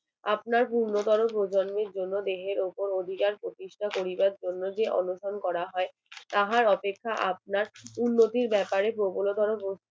আপনার পূর্ণতর প্রজন্মের জন্য দেহের ওপর অভিযান প্রতিষ্ঠা করিবার জন্য যে অনশন করা হয় তাহার অপেক্ষা আপনার উন্নতির ব্যাপারে প্রবলতর